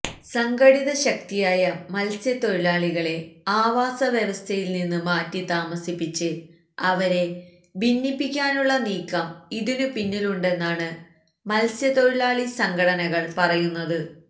സംഘടിത ശക്തിയായ മത്സ്യത്തൊഴിലാളികളെ ആവാസവ്യവസ്ഥയില് നിന്ന് മാറ്റി താമസിപ്പിച്ച് അവരെ ഭിന്നിപ്പിക്കാനുള്ള നീക്കം ഇതിനുപിന്നിലുണ്ടെന്നാണ് മത്സ്യത്തൊഴിലാളി സംഘടനകള് പറയുന്നത്